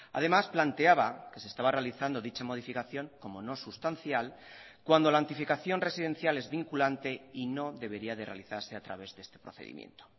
además planteaba que se estaba realizando dicha modificación como no sustancial cuando la antificación residencial es vinculante y no debería de realizarse a través de este procedimiento